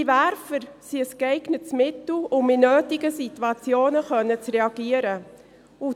Diese Werfer sind ein geeignetes Mittel, um in Situationen, in denen dies notwendig ist, reagieren zu können.